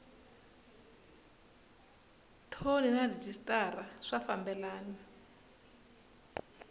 thoni na rhejisitara swi fambelana